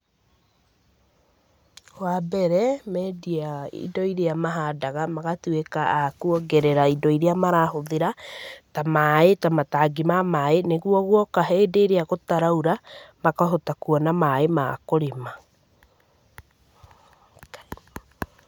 Wa mbere, mendia indo irĩa mahandaga magatuĩka a kuongerera indo irĩa marahũthĩra, ta maĩ, ta matangi ma maĩ, nĩguo guoka hĩndĩ ĩrĩa gũtaraura, makahota kuona maĩ ma kũrĩma.